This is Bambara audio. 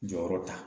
Jɔyɔrɔ ta